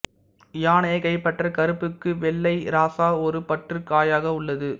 யானையைக் கைப்பற்ற கருப்புக்கு வெள்ளை இராசா ஒரு பற்றுக் காயாக உள்ளது